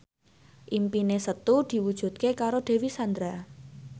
impine Setu diwujudke karo Dewi Sandra